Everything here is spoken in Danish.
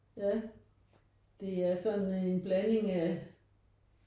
Ja det er sådan en blanding af